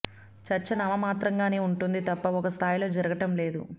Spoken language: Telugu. చర్చ నామమాత్రంగానే ఉంటోంది తప్ప ఒక స్థాయిలో జరగటం లేదు